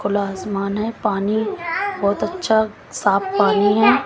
खुला आसमान है पानी बहुत अच्छा साफ पानी है।